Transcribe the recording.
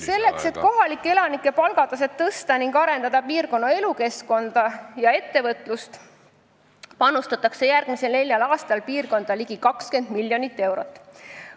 Selleks, et tõsta kohalike elanike palga taset ning arendada piirkonna elukeskkonda ja ettevõtlust, panustatakse järgmisel neljal aastal sellesse piirkonda ligi 20 miljonit eurot.